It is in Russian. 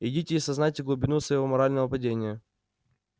идите и осознайте глубину своего морального падения